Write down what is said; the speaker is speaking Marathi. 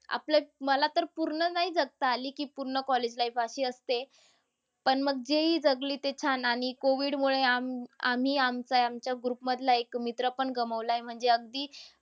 आपलं मला तर पूर्ण नाही जगता आली की पूर्ण college life अशी असते. पण मग जेही जगले ते छान आणि COVID मुळे आम~ आम्ही, आमचं- आमच्या group मधला एक मित्र पण गमवलाय. म्हणजे अगदी अह